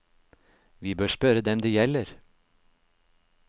Vi bør spørre dem det gjelder.